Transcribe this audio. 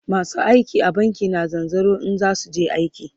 masu aiki a banki na zanzaro in zasuje aiki